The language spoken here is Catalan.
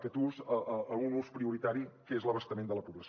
aquest ús a un ús prioritari que és l’abastament de la població